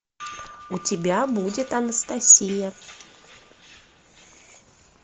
у тебя будет анастасия